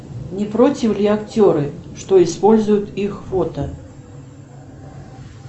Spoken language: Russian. не против ли актеры что используют их фото